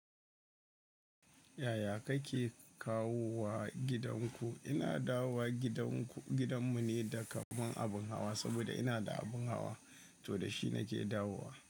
Yaya kake kawowa gidanku? Ina da wowa gidan ku, gidan mu ne da kaman abin hawa saboda ina da abin hawa, to da shi nake dawo wa.